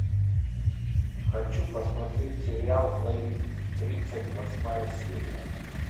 хочу посмотреть сериал двойник тридцать восьмая серия